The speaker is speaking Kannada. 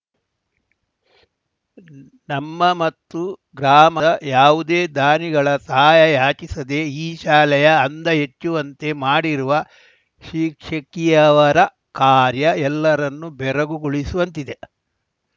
ನಮ್ಮ ಮತ್ತು ಗ್ರಾಮದ ಯಾವುದೇ ದಾನಿಗಳ ಸಹಾಯ ಯಾಚಿಸದೆ ಈ ಶಾಲೆಯ ಅಂದ ಹೆಚ್ಚುವಂತೆ ಮಾಡಿರುವ ಶಿಕ್ಷಕಿಯವರ ಕಾರ್ಯ ಎಲ್ಲರನ್ನೂ ಬೆರಗುಗೊಳಿಸುವಂತಿದೆ